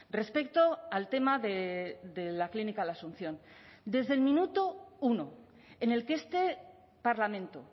respecto al tema de la clínica la asunción desde el minuto uno en el que este parlamento